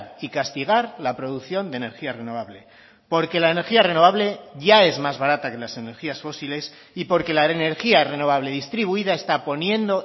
y castigar la producción de energía renovable porque la energía renovable ya es más barata que las energías fósiles y porque la energía renovable distribuida está poniendo